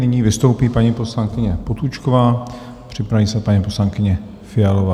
Nyní vystoupí paní poslankyně Potůčková, připraví se paní poslankyně Fialová.